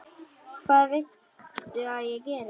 Hvað viltu að ég geri?